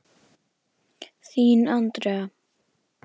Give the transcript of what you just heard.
Þín, Andrea.